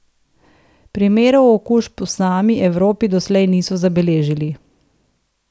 Primerov okužb v sami Evropi doslej niso zabeležili.